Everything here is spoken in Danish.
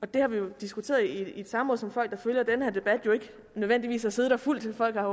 det har vi jo diskuteret i et samråd som folk der følger den her debat jo ikke nødvendigvis har siddet og fulgt folk har